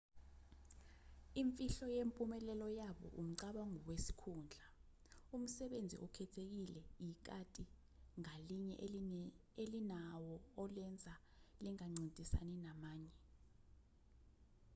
imfihlo yempumelelo yabo umcabango wesikhundla umsebenzi okhethekile ikati ngalinye elinawo olenza lingancintisani namanye